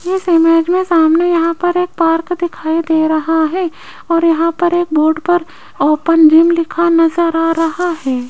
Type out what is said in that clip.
इस इमेज में सामने यहां पर एक पार्क दिखाई दे रहा है और यहां पर एक बोर्ड पर ओपन जिम लिखा नजर आ रहा है।